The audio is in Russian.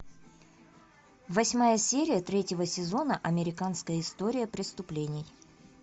восьмая серия третьего сезона американская история преступлений